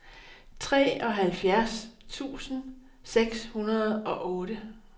treoghalvfjerds tusind seks hundrede og otte